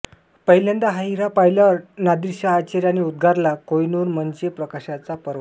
पहिल्यांदा हा हिरा पाहिल्यावर नादिरशहा आश्चर्याने उद्गारला कोहइनूर म्हणजे प्रकाशाचा पर्वत